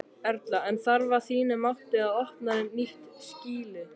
Erla: En þarf að þínu mati að opna nýtt skýli?